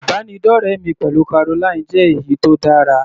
Ìbánidọ́rẹ mi pẹ̀lú Caroline jẹ́ èyí tó dára.